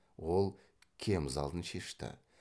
ол кемзалын шешті